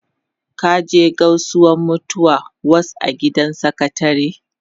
Ka je Gausuwa mutu was a gidan sakatare?